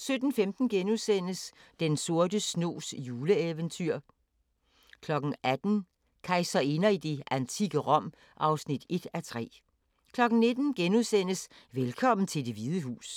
17:15: Den sorte snogs juleeventyr * 18:00: Kejserinder i det antikke Rom (1:3) 19:00: Velkommen til Det Hvide Hus (2:2)*